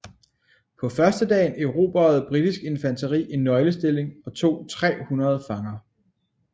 På førstedagen erobrede britisk infanteri en nøglestilling og tog 300 fanger